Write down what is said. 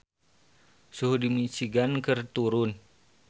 Suhu di Michigan keur turun